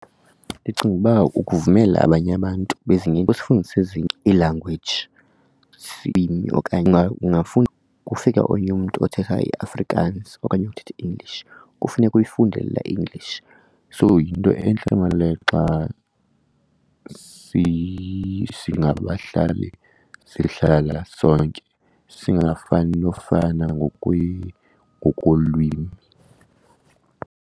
Ndicinga ukuba ukuvumela abanye abantu bezinye kusifundisa ezinye iilangweji okanye . Kufika omnye umntu othetha iAfrikaans okanye othetha iEnglish, kufuneka uyifundele la English. So yinto entle maan le xa singabahlali sihlala sonke singafani nofana ngokolwimi.